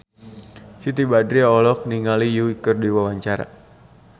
Siti Badriah olohok ningali Yui keur diwawancara